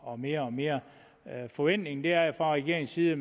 og mere og mere forventningen er jo fra regeringens side at